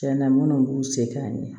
Tiɲɛna minnu b'u se ka ɲɛ